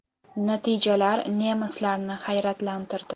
Natijalar nemislarni hayratlantirdi.